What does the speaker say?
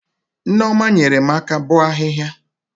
Nneoma nyere m aka bọ ahịhịa